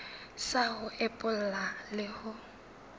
sa ho epolla le ho